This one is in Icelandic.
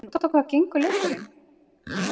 En út á hvað gengur leikurinn?